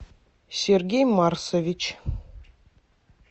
сергей марсович